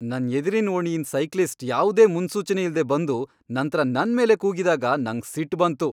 ನನ್ ಎದ್ರಿನ ಓಣಿಯಿಂದ್ ಸೈಕ್ಲಿಸ್ಟ್ ಯಾವ್ದೇ ಮುನ್ಸೂಚನೆಯಿಲ್ದೆ ಬಂದು ನಂತ್ರ ನನ್ ಮೇಲೆ ಕೂಗಿದಾಗ ನಂಗ್ ಸಿಟ್ ಬಂತು.